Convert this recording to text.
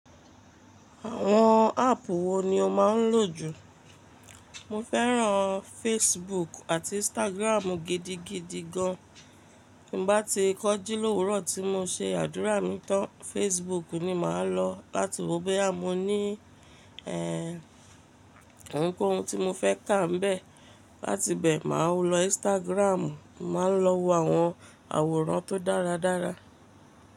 Àwọn áàpù wo ni o máa ń lò jù? Mo fẹ́ràn Facebook àti Instagram gidigidi gan. Bí mo bá ti kọji lówurọ tí mo se àdúrà mi tán, Facebook ni màá lọ láti wo boya mo ní eh ohunkóhun tí mo fẹ́ kàá m’bẹ. Láti bẹ màá lọ Instagram, màá lọ wo àwọn àwòrán tó dáradára.